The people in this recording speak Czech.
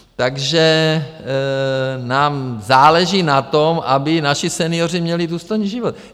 Takže nám záleží na tom, aby naši senioři měli důstojný život.